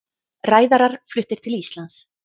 Ræðarar fluttir til Íslands